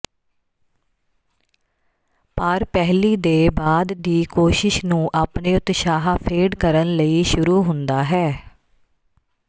ਪਰ ਪਹਿਲੀ ਦੇ ਬਾਅਦ ਦੀ ਕੋਸ਼ਿਸ਼ ਨੂੰ ਆਪਣੇ ਉਤਸ਼ਾਹ ਫੇਡ ਕਰਨ ਲਈ ਸ਼ੁਰੂ ਹੁੰਦਾ ਹੈ